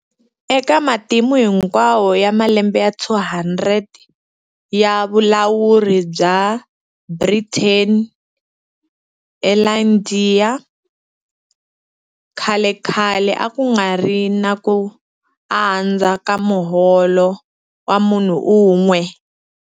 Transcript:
Eka matimu hinkwawo ya malembe ya 200 ya vulawuri bya Britain eIndiya, khalekhale a ku nga ri na ku andza ka muholo wa munhu un'we.